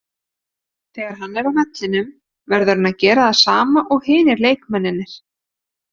Þegar hann er á vellinum verður hann að gera það sama og hinir leikmennirnir.